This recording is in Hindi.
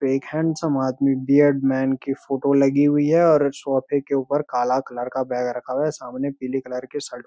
तो एक हैंडसम आदमी बीयर्ड मैन की फोटो लगी हुई है और सोफे के ऊपर काला कलर का बैग रखा हुआ है सामने पीले कलर की शर्ट --